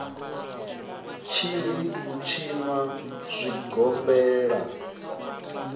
tshi ri u tshinwa zwigombela